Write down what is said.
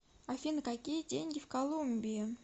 афина какие деньги в колумбии